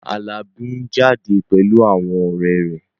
Alabi ń jáde pẹ̀lú àwọn ọ̀rẹ́ rẹ̀